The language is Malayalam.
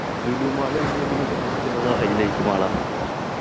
ലുലു mall കഴിഞ്ഞ പിന്നെ കേരളത്തിലുള്ള hilite mall ആ